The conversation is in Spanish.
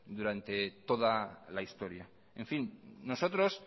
durante toda la historia en fin nosotros